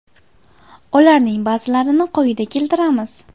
Ularning ba’zilarini quyida keltiramiz.